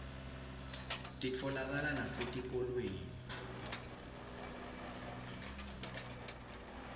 titfolakala nasetikolweni